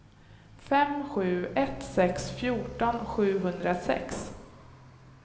fem sju ett sex fjorton sjuhundrasex